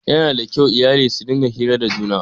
Yana da kyau iyali su rinƙa hira da juna.